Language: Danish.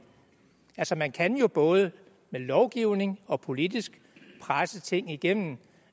altså man kan jo både med lovgivning og politisk presse ting igennem